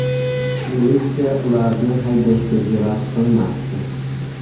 Militsiya ularni haydashga jur’at qilmasdi.